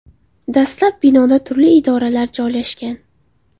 Dastlab binoda turli idoralar joylashgan.